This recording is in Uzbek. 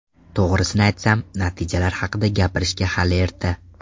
To‘g‘risini aytsam, natijalar haqida gapirishga hali erta.